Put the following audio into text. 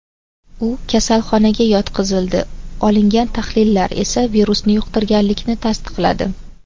U kasalxonaga yotqizildi, olingan tahlillar esa virusni yuqtirganlikni tasdiqladi.